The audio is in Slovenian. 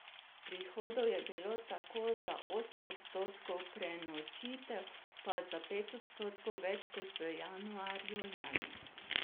Prihodov je bilo tako za osem odstotkov, prenočitev pa za pet odstotkov več kot v januarju lani.